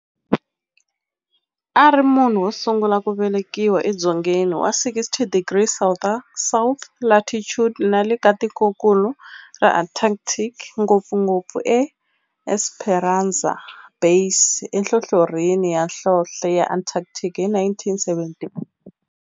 A ri munhu wosungula ku velekiwa edzongeni wa 60 degrees south latitude nale ka tikonkulu ra Antarctic, ngopfugopfu eEsperanza Base enhlohlorhini ya nhlonhle ya Antarctic hi 1978.